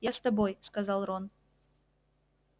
я с тобой сказал рон